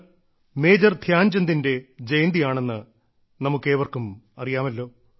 ഇന്ന് മേജർ ധ്യാൻചന്ദിന്റെ ജന്മദിനമാണെന്ന് നമുക്ക് ഏവർക്കും അറിയാമല്ലോ